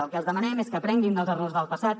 el que els demanem és que aprenguin dels errors del passat